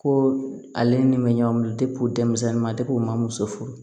Ko ale ni bɛ ɲɔgɔn minɛ de denmisɛnni man u ma muso furu